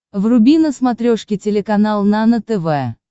вруби на смотрешке телеканал нано тв